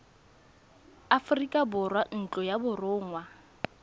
aforika borwa ntlo ya borongwa